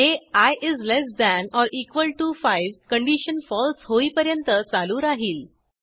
हे ilt5 condition फळसे होईपर्यंत चालू राहिल